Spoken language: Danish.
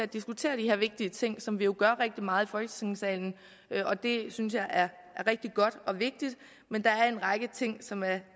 diskuteret de her vigtige ting som vi jo gør rigtig meget folketingssalen og det synes jeg er rigtig godt og vigtigt men der er en række ting som er